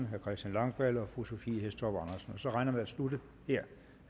herre christian langballe og fru sophie hæstorp andersen så regner jeg med at slutte